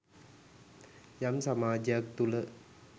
යම් සමාජයක් තුළ